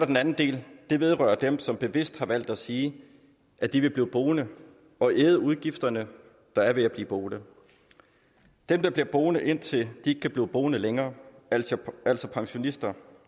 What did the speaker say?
den anden del det vedrører dem som bevidst har valgt at sige at de vil blive boende og æde udgifterne der er ved at blive boende dem der bliver boende indtil de ikke kan blive boende længere altså altså pensionister